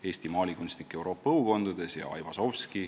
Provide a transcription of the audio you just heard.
Eesti maalikunstnik Euroopa õukondades" ja "Aivazovski.